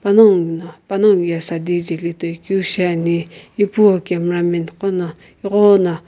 panongu no panongu ye saadi jeli toikeu shiani ipu cameramen qono ighona --